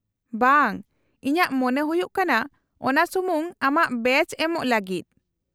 -ᱵᱟᱝ, ᱤᱧᱟᱹᱜ ᱢᱚᱱᱮ ᱦᱩᱭᱩᱜ ᱠᱟᱱᱟ ᱚᱱᱟ ᱥᱩᱢᱩᱝ ᱟᱢᱟᱜ ᱵᱮᱪ ᱮᱢᱚᱜ ᱞᱟᱹᱜᱤᱫ ᱾